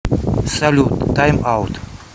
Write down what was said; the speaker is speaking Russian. салют тайм аут